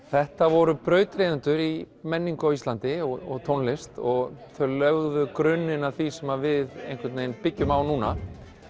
þetta voru brautryðjendur í menningu á Íslandi og tónlist þau lögðu grunninn að því sem við byggjum á núna